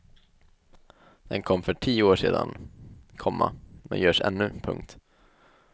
Den kom för tio år sedan, komma men görs ännu. punkt